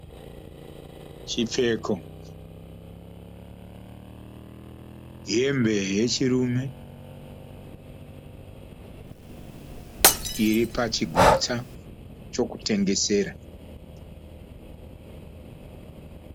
chipfeko, hembe yechirume iripachigutsa chokutengesera.